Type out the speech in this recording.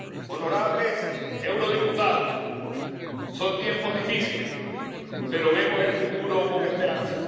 Honorables eurodiputados, son tiempos difíciles, pero vemos el futuro con esperanza.